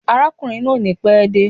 Arákùnrin náà ò ní pé de